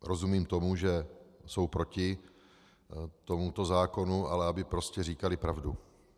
Rozumím tomu, že jsou proti tomuto zákonu, ale aby prostě říkali pravdu.